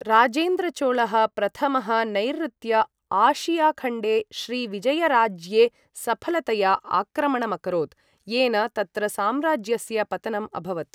राजेन्द्रचोलः प्रथमः नैऋत्य आशियाखण्डे श्रीविजयराज्ये सफलतया आक्रमणमकरोत्, येन तत्र साम्राज्यस्य पतनम् अभवत्।